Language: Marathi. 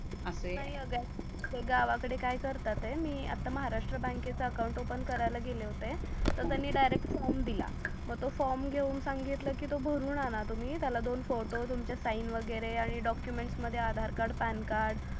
बग गावा कडे काय करतात आहे मी आता महाराष्ट्र बँककेच अकाउंट ओफन करायला गेले होते तर हो त्यांनी डायरेक्ट फॉर्म दिला मग तो फॉर्म घेऊन सांगितले की तुम्ही भरून आणा तुम्ही त्याला दोन फोटो तुमचे साइन वगेरे आणि डॉकूमेंट मध्ये आधार कार्ड पॅन कार्ड